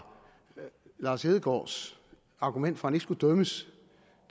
lars hedegaards argument for at han ikke skulle dømmes